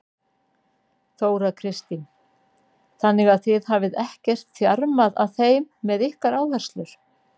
Þóra Kristín: Þannig að þið hafið ekkert þjarmað að þeim með ykkar áherslur?